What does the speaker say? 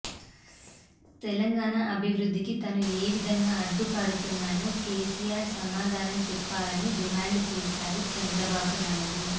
తెలంగాణ అభివృద్ధికి తాను ఏవిధంగా అడ్డుపడుతున్నానో కేసీఆర్ సమాధానం చెప్పాలని డిమాండ్ చేశారు చంద్రబాబు నాయుడు